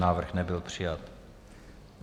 Návrh nebyl přijat.